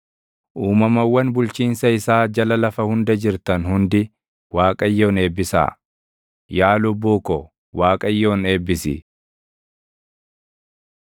Uumamawwan bulchiinsa isaa jala lafa hunda jirtan hundi Waaqayyoon eebbisaa. Yaa lubbuu ko, Waaqayyoon eebbisi.